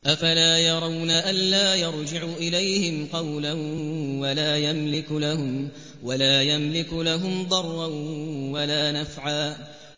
أَفَلَا يَرَوْنَ أَلَّا يَرْجِعُ إِلَيْهِمْ قَوْلًا وَلَا يَمْلِكُ لَهُمْ ضَرًّا وَلَا نَفْعًا